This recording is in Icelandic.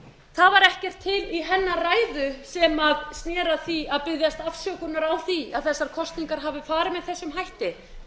það var ekkert til í hennar ræðu sem sneri að því að biðjast afsökunar á því að þessar kosningar hafi farið með þessum hætti